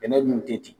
Bɛnɛ dun tɛ ten